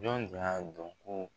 Jɔn tun y'a dɔn ko.